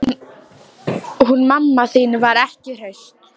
Hún mamma þín var ekki hraust.